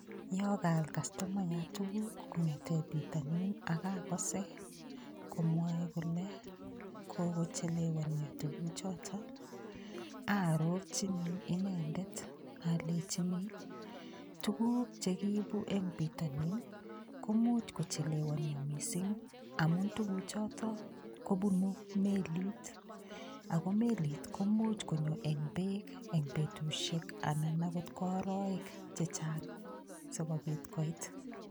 Yo kaal kastomayat tukuk kong'ete pitonin akakose komwoe kole kokochelewonio tukuchoto aarorchini inendet alechini tukuk chekiibu eng' pitonin komuuch kochelewonio mising' amun tukuchoto kobunu melit ako melit komuuch konyo eng' beek eng' betushiek anan akot ko oroek chechang'